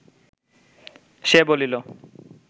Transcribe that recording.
সে বলিল